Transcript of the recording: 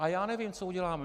A já nevím, co uděláme.